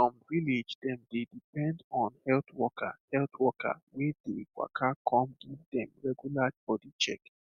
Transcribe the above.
um some village dem dey depend on health worker health worker wey dey waka come give dem regular body check